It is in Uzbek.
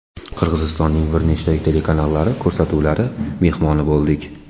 Qirg‘izistonning bir nechta telekanallari ko‘rsatuvlari mehmoni bo‘ldik.